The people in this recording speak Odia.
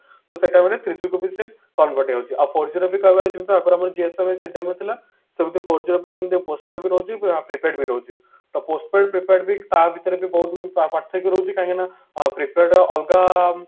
ତ ସେଟା ମାନେ three G କୁ ବି ସେ convert ହଉଛି ଆଉ four G କହିବାକୁ ଗଲେ ଯୋଉଟା ଆପଣଙ୍କର ସେଟା ବି ଥିଲା ସେମଟି four G ର ବି ସେମତି postpaid ବି ରହୁଛି prepaid ବି ରହୁଛି ଆଉ postpaid prepaid ତା ଭିତରେ ବି ବହୁତ ପାର୍ଥକ୍ୟ ରହୁଛି କାହିଁକି ନା prepaid ଅଲଗା